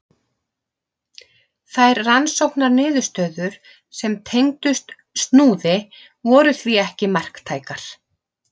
Þær rannsóknarniðurstöður sem tengdust Snúði voru því ekki marktækar.